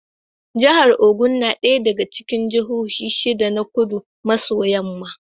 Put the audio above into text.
Jahar Ogun na ɗaya daga cikin jahohin shida na Kudu maso yamma.